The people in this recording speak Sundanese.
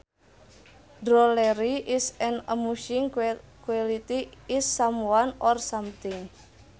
Drollery is an amusing quality in someone or something